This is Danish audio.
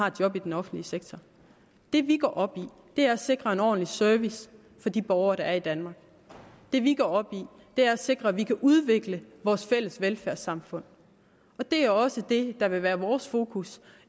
et job i den offentlige sektor det vi går op i er at sikre en ordentlig service for de borgere der er i danmark det vi går op i er at sikre at vi kan udvikle vores fælles velfærdssamfund det er også det der vil være vores fokus